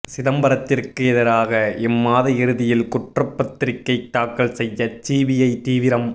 சிதம்பரத்திற்கு எதிராக இம்மாத இறுதியில் குற்றப்பத்திரிகை தாக்கல் செய்ய சிபிஐ தீவிரம்